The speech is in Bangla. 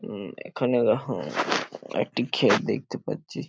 উম এখানে আহ একটি ক্ষেত দেখতে পাচ্ছি।